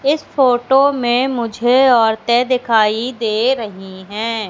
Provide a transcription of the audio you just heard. इस फोटो में मुझे औरतें दिखाई दे रही हैं।